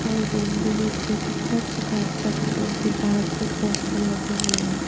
और रूम भी देख रही हूं कितना चकाचक है दीवार पे पोस्टर लगे हुए हैं।